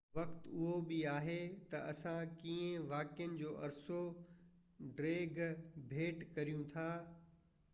وقت اهو بہ آهي تہ اسان ڪيئن واقعن جو عرصو ڊيگهہ ڀيٽ ڪريون ٿا